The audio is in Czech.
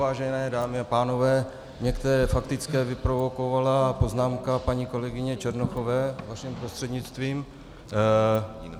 Vážené dámy a pánové, některé faktické vyprovokovala poznámka paní kolegyně Černochové vaším prostřednictvím.